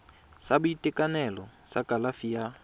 sa boitekanelo sa kalafi ya